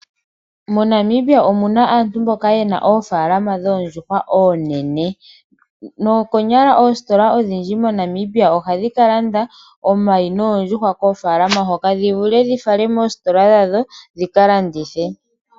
MoNamibia omuna aantu mboka yena oofalama dhoondjuhwa oonene . Noko nyala oositola odhondji moNamibia ohadhi kalanda omayi noondjuhwa koofalama hoka dhivule dhifala moositola dhadho dhika landithe.